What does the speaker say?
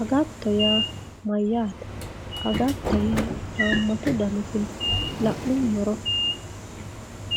agatto yaa mayyaate agatto haammatu daniti no la'nummoro